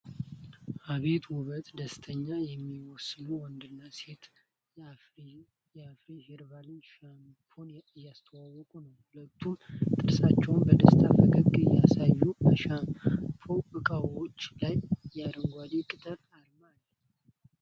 አቤት ውበት! ደስተኛ የሚመስሉ ወንድና ሴት የአፍሪሄርባል ሻምፑን እያስተዋውቁ ነው። ሁለቱም ጥርሳቸውን በደስታ ፈገግታ ያሳያሉ፤ በሻምፑ እቃዎቹ ላይም የአረንጓዴ ቅጠል አርማ አለ።